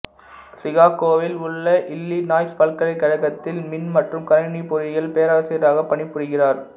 சிகாகோவில் உள்ள இல்லினாய்சு பல்கலைக்கழகத்தில் மின் மற்றும் கணினி பொறியியல் பேராசிரியராகப் பணிபுரிகிறார்